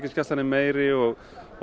gæslan er meiri og